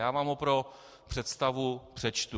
Já vám ho pro představu přečtu.